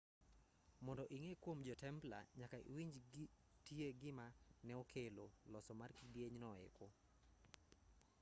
mondo ing'e kuom jo-templa nyaka iwinj tie gima ne okelo loso mar kidieny no eko